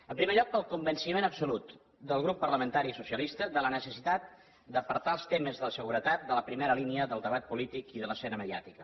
en primer lloc pel convenciment absolut del grup parlamentari socialista de la necessitat d’apartar els temes de seguretat de la primera línia del debat polític i de l’escena mediàtica